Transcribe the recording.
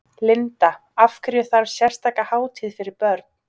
Linda: Af hverju þarf sérstaka hátíð fyrir börn?